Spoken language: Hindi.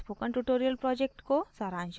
यह spoken tutorial project को सारांशित करता है